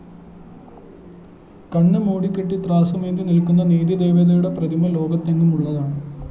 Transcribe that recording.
കണ്ണുമൂടിക്കെട്ടി ത്രാസുമേന്തി നില്‍ക്കുന്ന നീതിദേവതയുടെ പ്രതിമ ലോകത്തെങ്ങുമുള്ളതാണ്